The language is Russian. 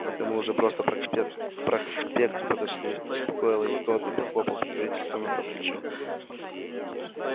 это мы просто уже к проспекту подошли успокоил его тот и похлопал покровительственно по плечу